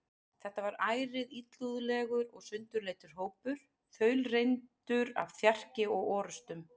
Þetta var ærið illúðlegur og sundurleitur hópur, þaulreyndur af þjarki og orustum.